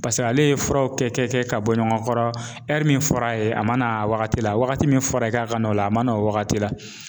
Paseke ale ye furaw kɛ kɛ kɛ ka bɔ ɲɔgɔn kɔrɔ min fɔr'a ye, a ma n'a a wagati la wagati min fɔra, ye, k'a ka na, a ma n'o wagati la.